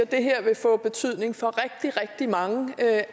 det her vil få betydning for rigtig rigtig mange af